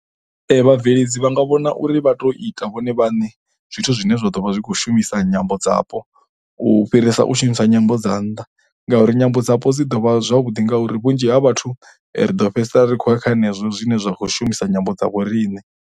Vhabveledzi vha nga vhona uri vha tou ita vhone vhaṋe zwithu zwine zwa ḓo vha zwi khou shumisa nyambo dzapo u fhirisa u shumisa nyambo dza nnḓa ngauri nyambo dzapo dzi ḓo vha zwavhuḓi ngauri vhunzhi ha vhathu ri do fhedzisela ri khou ya kha zwenezwo zwine zwa khou shumisa nyambo dza vho riṋe.